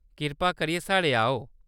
कृपा करियै ! साढ़ै आओ।